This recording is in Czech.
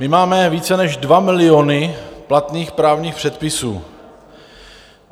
My máme více než dva miliony platných právních předpisů.